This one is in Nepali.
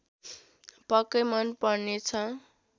पक्कै मन पर्नेछ